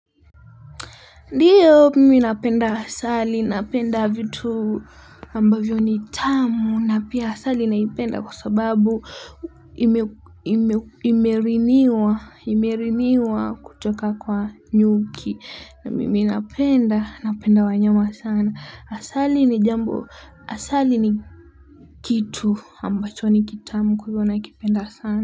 Ndio mimi napenda asali, napenda vitu ambavyo ni tamu na pia asali naipenda kwa sababu imeriniwa kutoka kwa nyuki na mimi napenda, napenda wanyama sana. Asali ni jambo, asali ni kitu ambacho ni kitamu kwa hivyo nakipenda sana.